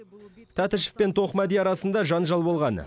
тәтішев пен тоқмәди арасында жанжал болған